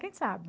Quem sabe?